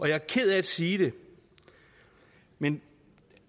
jeg er ked af at sige det men